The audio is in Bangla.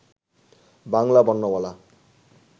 বাংলা বর্ণমালা